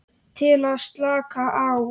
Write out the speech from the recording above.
Til að slaka á.